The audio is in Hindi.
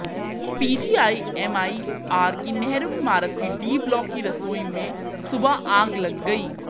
पीजीआईएमईआर की नेहरू इमारत के डी ब्लॉक की रसोई में सुबह आग लग गई